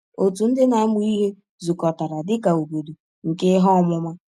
Òtù ndị na-amụ ihe zukọtara dị ka “obodo nke ihe ọmụma.”